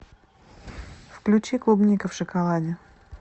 включи клубника в шоколаде